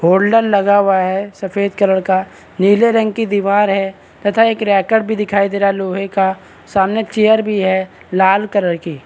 holder लगा हुआ है सफेद कलर का नीले रंग की दीवार है तथा एक रैकेट भी दिखाई दे रहा लोहे का सामने चेयर भी है लाल कलर की --